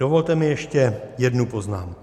Dovolte mi ještě jednu poznámku.